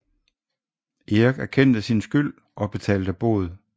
Erik erkendte sin skyld og betalte bod